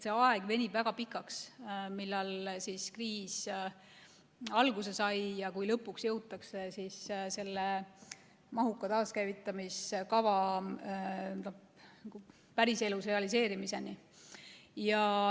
See aeg venib väga pikaks, kriisi algusest sinnani, kui lõpuks jõutakse selle mahuka taaskäivitamiskava päriselus realiseerimiseni.